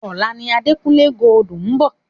Ọ̀la ni Adekunle Gold ń bọ̀.